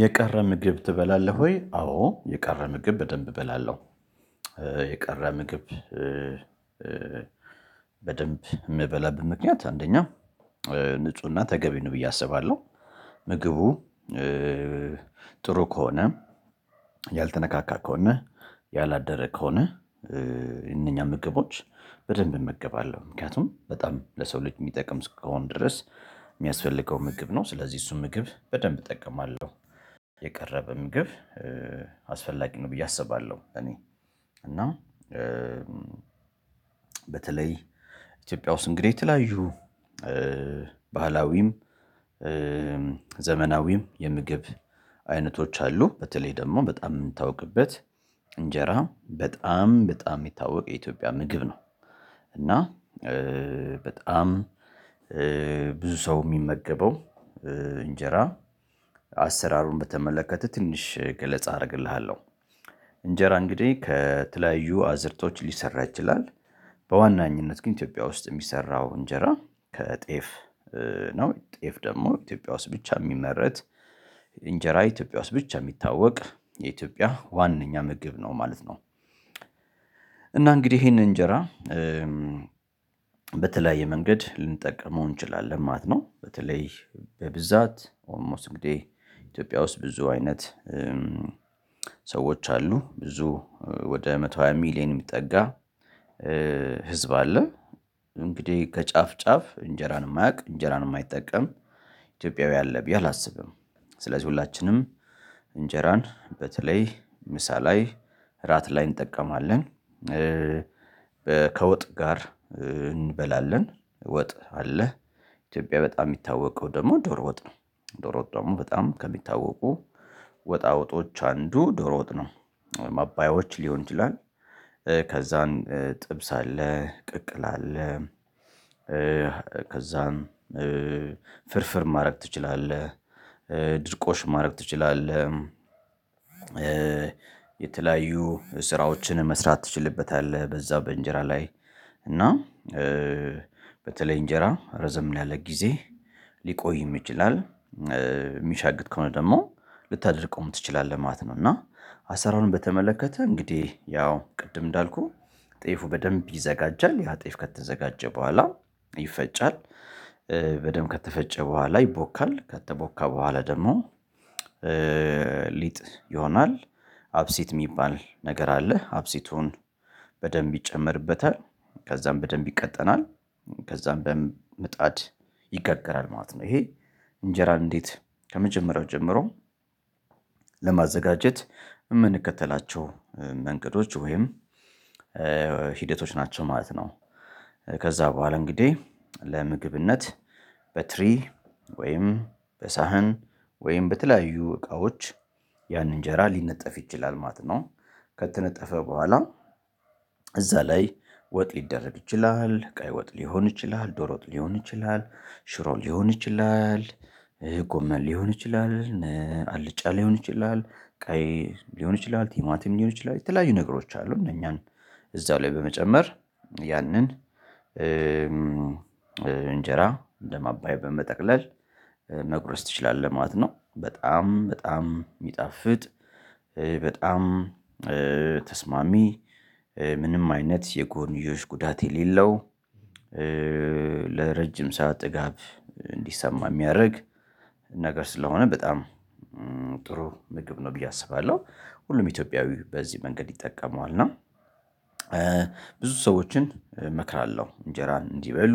የቀረ ምግብ ትበላለህ ወይ አዎ የቀረ ምግብ በደንብ እበላለው። የቀረ ምግብ በደንብ የምበላበት ምክንያት አንደኛ ንፁህና ተገቢ ነው ብዬ አስባለሁ። ምግቡ ጥሩ ከሆነ ያልተነካካ ከሆነ ያላደረ ከሆነ የነኛ ምግቦች በደንብ እመገባለሁ ምክንያቱም በጣም ለሰው ልጅ የሚጠቅም እስከሆን ድረስ የሚያስፈልገው ምግብ ነው ስለዚህ እሱ ምግብ በደንብ እጠቀማለሁ የቀረ ምግብ አስፈላጊ ነው ብዬ አስባለሁ እኔ እና በተለይ ኢትዮጵያ ውስጥ እንግዲህ የተለያዩ ባህላዊም ዘመናዊም የምግብ አይነቶች አሉ በተለይ ደግሞ በጣም የምታውቅበት እንጀራ በጣም በጣም የሚታወቅ የኢትዮጵያ ምግብ ነው። እና በጣም ብዙ ሰው የሚመገበው እንጀራ አሰራሩን በተመለከተ ትንሽ ገለጻ አደርግልሃለሁ። እንጀራ እንግዲህ ከተለያዩ አዝርቶች ሊሰራ ይችላል። በዋናኝነት ግን ኢትዮጵያ ውስጥ የሚሰራው እንጀራ ከጤፍ ነው። ጤፍ ደግሞ ኢትዮጵያ ውስጥ ብቻ የሚመረት እንጀራ ኢትዮጵያ ውስጥ ብቻ የሚታወቅ የኢትዮጵያ ዋናኛ ምግብ ነው ማለት ነው። እና እንግዲህ ይሄንን እንጀራ በተለያየ መንገድ ልንጠቀመው እንችላለን ማለት ነው። በተለይ በብዛት ኦልሞስት እንግዲህ ኢትዮጵያ ውስጥ ብዙ አይነት ሰዎች አሉ ብዙ ወደ መቶ ሃያ ሚሊየን የሚጠጋ ህዝብ አለ እንግዲህ ከጫፍ ጫፍ እንጀራን የማያውቅ እንጀራን የማይጠቀም ኢትዮጵያዊ አለብኝ አላስብም ስለዚህ ሁላችንም እንጀራን በተለይ ምሳ ላይ እራት ላይ እንጠቀማለን። ከወጥ ጋር እንበላለን ወጥ አለ ኢትዮጵያ በጣም የሚታወቀው ደግሞ ዶር ወጥ ነው። ዶር ወጥ ደግሞ በጣም ከሚታወቁ ወጣ ወጦች አንዱ ዶሮ ወጥ ነው። ማባዮች ሊሆን ይችላል ከዛን ጥብስ አለ ቅቅል አለ ከዛን ፍርፍር ማድረግ ትችላለህ። ድርቆሽ ማድረግ ትችላለህ። የተለያዩ ስራዎችን መስራት ትችልበታለህ። በዛው በእንጀራ ላይ እና በተለይ እንጀራ ረዘም ሊያለቅ ጊዜ ሊቆይም ይችላል። የሚሻግት ከሆነ ደግሞ ልታደርቀዉም ትችላለህ ማለት ነው። እና አሰራውን በተመለከተ እንግዲህ ያው ቅድም እንዳልኩህ ጤፉ በደንብ ይዘጋጃል ያ ጤፍ ከተዘጋጀ በኋላ ይፈጫል በደንብ ከተፈጨ በኋላ ይቦካል ከተቦካ በኋላ ደግሞ ሊጥ ይሆናል አብሲት የሚባል ነገር አለ አብሲቱን በደንብ ይጨመርበታል ከዛም በደንብ ይቀጠናል ከዛም በምጣድ ይጋገራል ማለት ነው ይሄ እንጀራ እንዴት ከመጀመሪያው ጀምሮ ለማዘጋጀት የምንከተላቸው መንገዶች ወይም ሂደቶች ናቸው ማለት ነው። ከዛ በኋላ እንግዲህ ለምግብነት በትሪ ወይም በሳህን ወይም በተለያዩ እቃዎች ያን እንጀራ ሊነጠፍ ይችላል ማትኖ ከተነጠፈ በኋላ እዛ ላይ ወጥ ሊደረግ ይችላል ቀይ ወጥ ሊሆን ይችላል። ዶሮጥ ሊሆን ይችላል። ሽሮ ሊሆን ይችላል። ጎመል ሊሆን ይችላል። አልጫ ሊሆን ይችላል። ቀይ ሊሆን ይችላል። ቲማቲም ሊሆን ይችላል። የተለያዩ ነገሮች አሉ እነኛን እዛ ላይ በመጨመር ያንን እንጀራ እንደማባያ በመጠቅለል መጉረስ ትችላለህ ማለት ነው። በጣም በጣም የሚጣፍጥ በጣም ተስማሚ ምንም አይነት የጎንዮሽ ጉዳት የሌለው ለረጅም ሰዓት ጥጋብ እንዲሰማ የሚያደርግ ነገር ስለሆነ በጣም ጥሩ ምግብ ነው ብዬ አስባለሁ። ሁሉም ኢትዮጵያዊ በዚህ መንገድ ይጠቀመዋል እና ብዙ ሰዎችን እመክራለሁ እንጀራን እንዲበሉ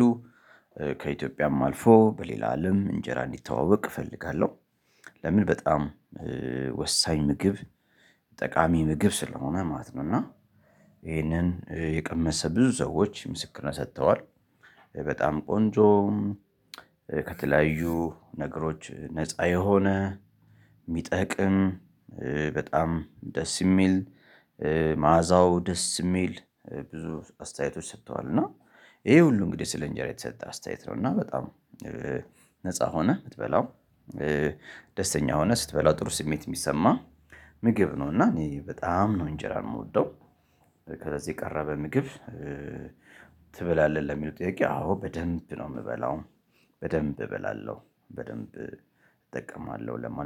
ከኢትዮጵያም አልፎ በሌላ አለም እንጀራ እንዲተዋወቅ እፈልጋለሁ። ለምን በጣም ወሳኝ ምግብ ጠቃሚ ምግብ ስለሆነ ማለት ነው እና ይሄንን የቀመሰ ብዙ ሰዎች ምስክርነት ሰጥተዋል። በጣም ቆንጆ ከተለያዩ ነገሮች ነፃ የሆነ የሚጠቅም በጣም ደስ የሚል መዓዛው ደስ የሚል ብዙ አስተያየቶች ሰጥተዋል እና ይሄ ሁሉ እንግዲህ ስለ እንጀራ የተሰጠ አስተያየት ነው እና በጣም ነፃ ሆነህ የምትበላው። ደስተኛ ሆነህ ስትበላው ጥሩ ስሜት የሚሰማ ምግብ ነው እና እኔ በጣም ነው እንጀራ የምወደው። ከዛ የቀረበ ምግብ ትበላለህ ለሚሉው ጥያቄ አዎ በደንብ ነው የምበላው በደንብ እበላለሁ። በደንብ እጠቀማለሁ ለማለት